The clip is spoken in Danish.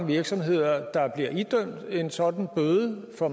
virksomheder der bliver idømt en sådan bøde for